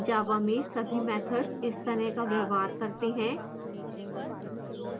java में सभी methods इस तरह का व्यवहार करते हैं